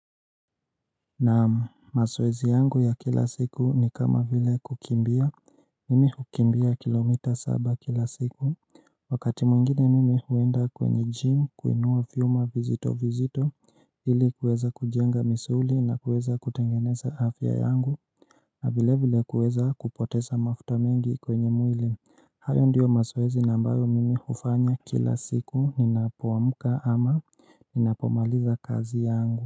Na mazoezi yangu ya kila siku ni kama vile kukimbia, mimi hukimbia kilomita saba kila siku Wakati mwingine mimi huenda kwenye gym, kuinua viuma vizito vizito ili kuweza kujenga misuli na kuweza kutengeneza afya yangu na vile vile kuweza kupoteza mafuta mengi kwenye mwili, hayo ndiyo mazoezi na ambayo mimi hufanya kila siku ninapo amka ama ninapomaliza kazi yangu.